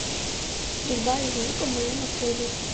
стрельба из лука в моем отеле